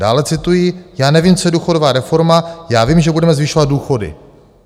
Dále cituji: "Já nevím, co je důchodová reforma, já vím, že budeme zvyšovat důchody."